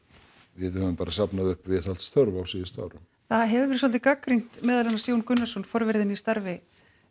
við höfum bara safnað upp viðhaldsþörf á síðustu árum það hefur verið svolítið gagnrýnt meðal annars Jón Gunnarsson forveri þinn í starfi